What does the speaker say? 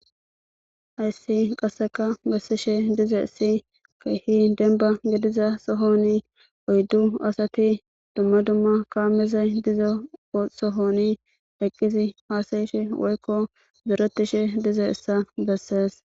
Hayssi qaseka betishe dizusi keehi demba gidiza sohon oydu asati dumma dumma kameyi diza sohon hasa'ishe woykko zoretishe dizayssa beses